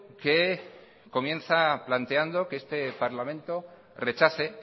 que comienza planteando que este parlamento rechace